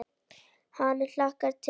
Ég hlakka til.